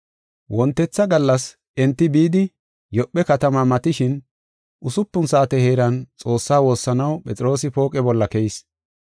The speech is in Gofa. Wontetha gallas enti bidi, Yoophe katama matishin usupun saate heeran Xoossaa woossanaw Phexroosi pooqe bolla keyis.